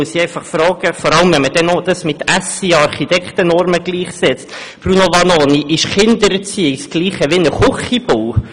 Da muss ich einfach fragen – vor allem wenn man dies dann noch mit SIA-Architektennormen gleichsetzt –, Bruno Vanoni, ist Kindererziehung dasselbe wie ein Küchenbau?